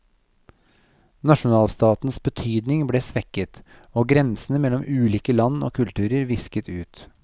Nasjonalstatens betydning ble svekket, og grensene mellom ulike land og kulturer visket ut.